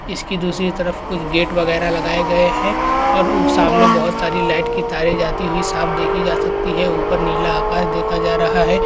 इसकी दूसरी तरफ कुछ गेट वगैरा लगाए गए हैं और उ सामने बहोत सारी लाइट की तारें जाती हुई साफ देखी जा सकती है ऊपर नीला आकाश देखा जा रहा है।